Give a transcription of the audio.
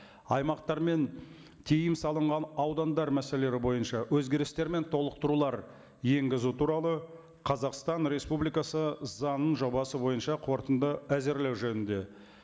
аймақтар мен тыйым салынған аудандар мәселелері бойынша өзгерістер мен толықтырулар енгізу туралы қазақстан республикасы заңының жобасы бойынша қорытынды әзірлеу жөнінде